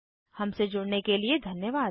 हमसे जुड़ने के लिए धन्यवाद